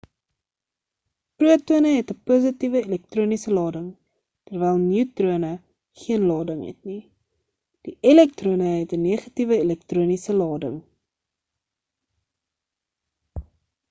protone het 'n positiewe elektroniese lading terwyl neutrone geen lading het nie die elektrone het 'n negatiewe elektroniese lading